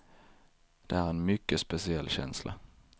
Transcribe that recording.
Det är en mycket speciell känsla.